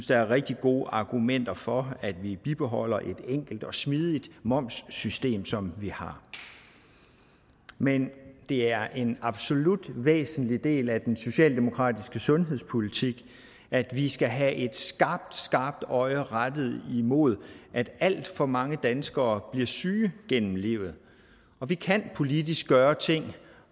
der er rigtig gode argumenter for at vi bibeholder et enkelt og smidigt momssystem som vi har men det er en absolut væsentlig del af den socialdemokratiske sundhedspolitik at vi skal have et skarpt skarpt øje rettet imod at alt for mange danskere bliver syge gennem livet og vi kan politisk gøre ting